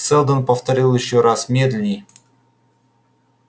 сэлдон повторил ещё раз медленнее